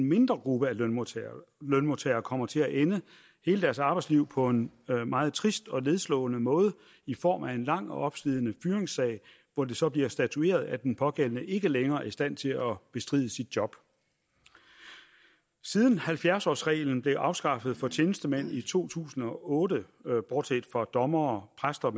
mindre gruppe af lønmodtagere lønmodtagere kommer til at ende hele deres arbejdsliv på en meget trist og nedslående måde i form af en lang og opslidende fyringssag hvor det så bliver statueret at den pågældende ikke længere er i stand til at bestride sit job siden halvfjerds årsreglen blev afskaffet for tjenestemænd i to tusind og otte bortset fra dommere præster